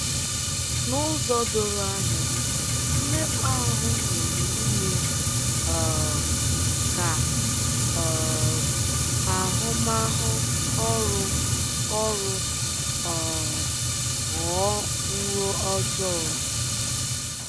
N’ụzọ doro anya ,mmekpa ahụ nwere ime um ka um ahụmahụ ọrụ ọrụ um ghọọ nro ojọọ.